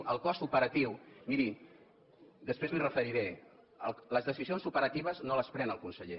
el cost operatiu miri després m’hi referiré les decisions operatives no les pren el conseller